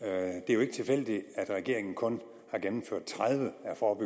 er jo ikke tilfældigt at regeringen kun har gennemført tredive